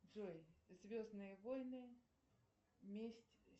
джой звездные войны месть